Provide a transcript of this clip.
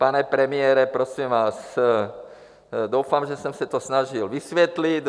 Pane premiére, prosím vás, doufám, že jsem se to snažil vysvětlit.